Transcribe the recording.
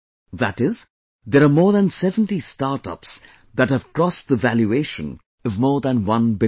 That is, there are more than 70 startups that have crossed the valuation of more than 1 billion